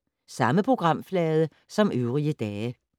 Samme programflade som øvrige dage